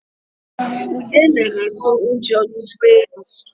Ude na-atụ ụjọ n'ụgbọelu